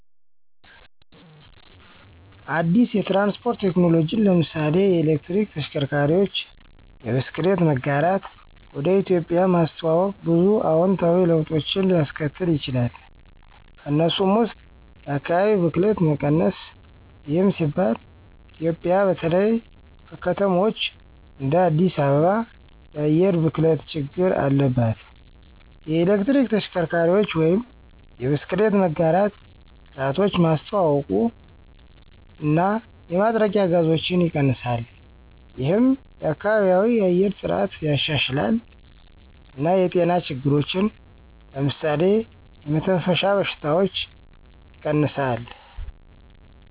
አዲስ የትራንስፖርት ቴክኖሎጂን (ለምሳሌ የኤሌክትሪክ ተሽከርካሪዎች፣ የብስክሌት መጋራት) ወደ ኢትዮጵያ ማስተዋወቅ ብዙ አዎንታዊ ለውጦችን ሊያስከትል ይችላል። ከእነሱም ውስጥ የአካባቢ ብክለት መቀነስ ይህም ሲባል ኢትዮጵያ በተለይ በከተማዎች እንደ አዲስ አበባ የአየር ብክለት ችግር አለባት። የኤሌክትሪክ ተሽከርካሪዎች ወይም የብስክሌት መጋራት ስርዓቶች ማስተዋውቀው እና የማጥረቂያ ጋዞችን ይቀንሳል። ይህም የከባቢያዊ የአየር ጥራትን ያሻሽላል እና የጤና ችግሮችን (ለምሳሌ የመተንፈሻ በሽታዎች) ይቀንሳል።